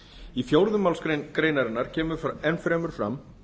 í fjórðu málsgrein greinarinnar kemur enn fremur fram